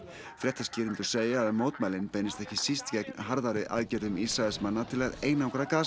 fréttaskýrendur segja að mótmælin beinist ekki síst gegn harðari aðgerðum Ísraelsmanna til að einangra